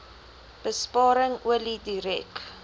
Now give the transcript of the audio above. besparing olie direk